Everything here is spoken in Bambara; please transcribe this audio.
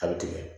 A bɛ tigɛ